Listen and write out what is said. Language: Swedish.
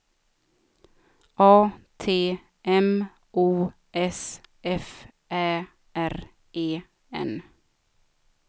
A T M O S F Ä R E N